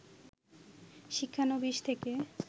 শিক্ষানবিস থেকে